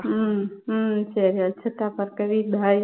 உம் உம் சரி வச்சிருட்டா பார்கவி bye